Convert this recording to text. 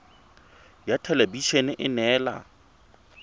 ya thelebi ene e neela